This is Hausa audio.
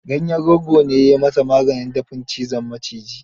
Ganyen rogo ne ya yi masaa maganin dafin cizon miciji.